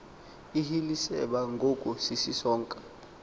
ihiliceba ngoku isisonka